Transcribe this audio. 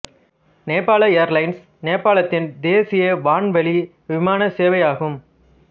நேபாள ஏர்லைன்ஸ் நேபாளத்தின் தேசிய வான்வழி விமான சேவை ஆகும்